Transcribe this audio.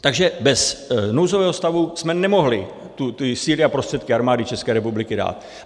Takže bez nouzového stavu jsme nemohli ty síly a prostředky Armády České republiky dát.